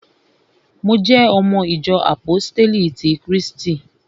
Mo jẹ́ ọmọ ìjọ àpóstélì ti krístì